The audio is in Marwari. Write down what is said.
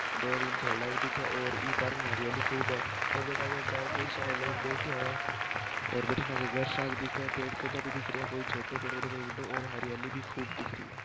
दो तीन खेला भी दिखे और इसमे हरियाली भी खूब है ओर बाठ कई सारा लोग बेठे है बतीन आग घर सा देखे है पेड़ पोधा भी दिख रहिया कोई छोटो कोई पेड़ हो तो कोई बड़ा और हरियाली भी खूब दिख रही हे।